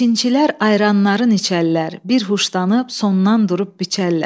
Biçinçilər ayranların içəllər, bir huşdanıb, sondan durub biçəllər.